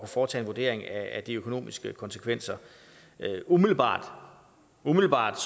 foretage en vurdering af de økonomiske konsekvenser umiddelbart umiddelbart